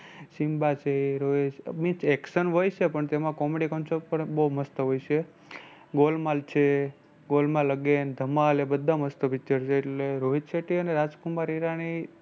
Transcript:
સિંબા છે, means action હોય છે પણ તેમાં comedy concept પણ બહુ મસ્ત હોય છે. ગોલમાલ છે golmal again, ધમાલ એ બધા મસ્ત picture છે એટલે રોહિત શેટ્ટી અને રાજ કુમાર ઈરાની